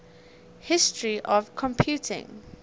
history of computing